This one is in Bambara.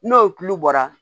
N'o kulu bɔra